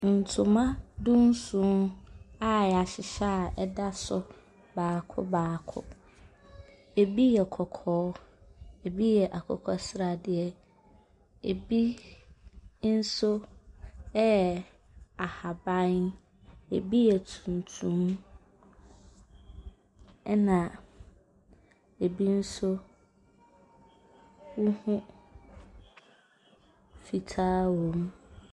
Ntoma du nson a yahyehyɛ a ɛda so baako baako. Ɛbi yɛ kɔkɔɔ ɛbi yɛ akokɔsradeɛ ɛbi nso ɛyɛ ahaban, ɛbi yɛ tuntum ɛna ɛbi nso wohu fitaa wɔm.